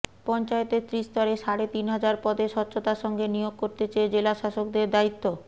পঞ্চায়েতের ত্রিস্তরে সাড়ে তিন হাজার পদে স্বচ্ছতার সঙ্গে নিয়োগ করতে চেয়ে জেলাশাসকদের দায়িত্ব